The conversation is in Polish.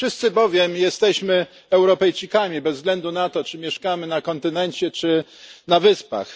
Wszyscy bowiem jesteśmy Europejczykami bez względu na to, czy mieszkamy na kontynencie czy na Wyspach.